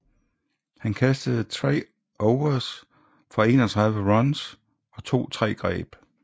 Han kastede 3 overs for 31 runs og tog tre greb